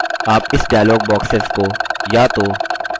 आप इस dialog boxes को या तो